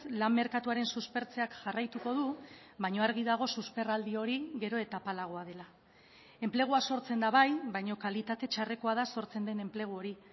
lan merkatuaren suspertzeak jarraituko du baina argi dago susperraldi hori gero eta apalagoa dela enplegua sortzen da bai baina kalitate txarrekoa da sortzen den enplegu hori